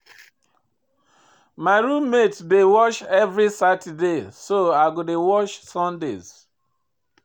My room mate dey wash every Saturday so I go dey wash Sundays.